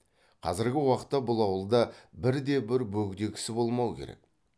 қазіргі уақытта бұл ауылда бірде бір бөгде кісі болмау керек